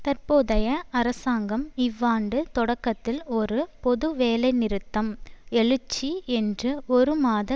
தற்போதைய அரசாங்கம் இவ்வாண்டு தொடக்கத்தில் ஒரு பொது வேலைநிறுத்தம் எழுச்சி என்று ஒரு மாத